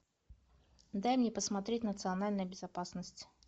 дай мне посмотреть национальная безопасность